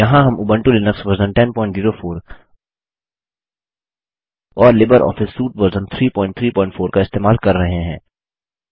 यहाँ हम Ubuntu Linux version 1004 और लिबर ऑफिस सूट वर्जन 334 का इस्तेमाल कर रहे हैं